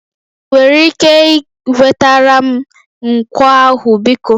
Ị nwere ike wetara m nkwọ ahụ biko?